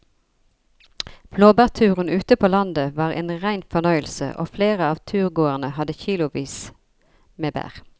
Blåbærturen ute på landet var en rein fornøyelse og flere av turgåerene hadde kilosvis med bær.